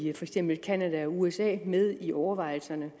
eksempel canada og usa med i overvejelserne